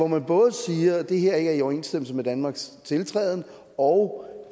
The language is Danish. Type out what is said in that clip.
man både siger at det her ikke er i overensstemmelse med danmarks tiltræden og